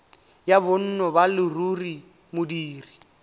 ya bonno ba leruri modiri